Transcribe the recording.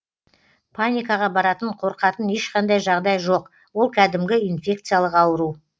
паникаға баратын қорқатын ешқандай жағдай жоқ ол кәдімгі инфекциялық ауру